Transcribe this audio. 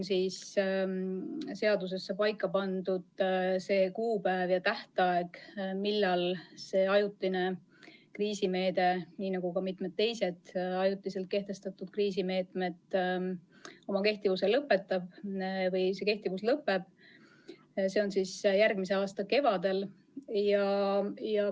Seaduses on paika pandud kuupäev, millal selle ajutise kriisimeetme, nagu ka mitme teise ajutiselt kehtestatud kriisimeetme kehtivus lõpeb – see toimub järgmise aasta kevadel.